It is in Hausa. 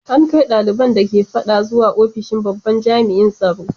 An kai daliban da ke fadan zuwa ofishin babban jami’in tsaro.